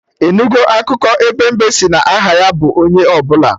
Ị nugo akụkọ ebe mbe sị na aha ya bụ 'onye ọbụla'?